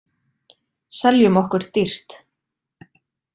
Seljum okkur dýrt